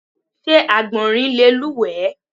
Sé Àgbọ̀nrín le lúùwé?